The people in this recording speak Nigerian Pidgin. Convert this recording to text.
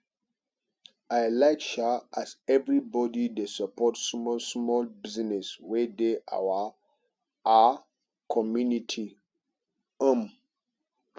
i like um as everybodi dey support small-small business wey dey our um community um